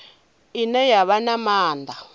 ine ya vha na maanḓa